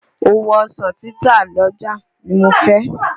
Òwò ọsàn títà l'ọ́jà nì mo fẹ́.